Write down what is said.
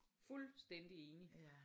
Fuldstændig enig!